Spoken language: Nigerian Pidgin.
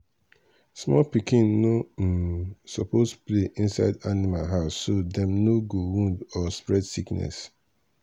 small pikin no um suppose play inside animal house so dem no go wound or spread sickness